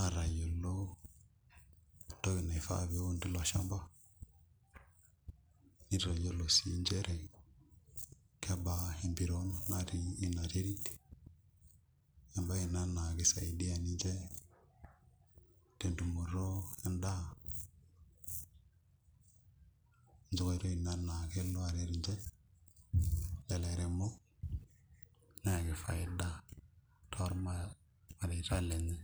aatayiolo entoki naifaa pee eun tilo shamba nitayiolo sii nchere kebaa empiron natii ina terit emabye ina naa kisaidia ninche tentumoto endaa enkoitoi ina naa kelo aret ninche lelo airemok neyaki faida tolmareita lenye.